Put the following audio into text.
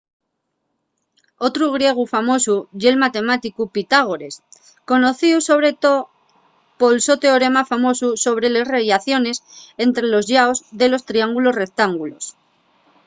otru griegu famosu ye’l matemáticu pitágores conocíu sobre too pol so teorema famosu sobre les rellaciones ente los llaos de los triángulos rectángulos